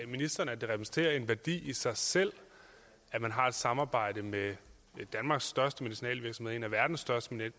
ministeren at det repræsenterer en værdi i sig selv at man har samarbejde med danmarks største medicinalvirksomhed en af verdens største